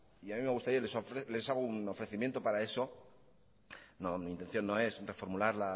y a mí me gustaría les hago un ofrecimiento para eso mi intención no es reformular